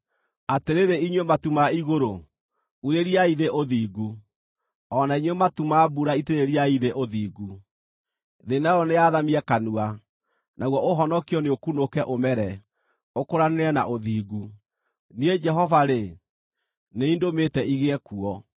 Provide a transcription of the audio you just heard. “Atĩrĩrĩ inyuĩ matu ma igũrũ, urĩriai thĩ ũthingu; o na inyuĩ matu ma mbura itĩrĩriai thĩ ũthingu. Thĩ nayo nĩyathamie kanua, naguo ũhonokio nĩũkunũke, ũmere, ũkũranĩre na ũthingu. Niĩ Jehova-rĩ, nĩ niĩ ndũmĩte igĩe kuo.